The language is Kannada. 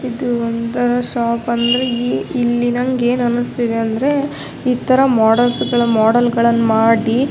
ಇದು ಒಂದು ಶಾಪ್ ಅಂದ್ರೆ ಇಲ್ಲಿ ನಂಗೇನು ಅನ್ನಿಸ್ತಾ ಇದೆ ಅಂದ್ರೆ ಇತರ ಮೋಡೆಲ್ಸ್ ಮೋಡೆಲ್ಗಳನ್ನು ಮಾಡಿ.